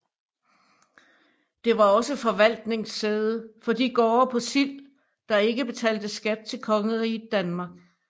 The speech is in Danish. Det var også forvaltningssæde for de gårde på Sild der ikke betalte skat til Kongeriget Danmark